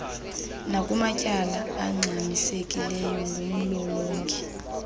nakumatyala angxamisekileyo ngumlolongi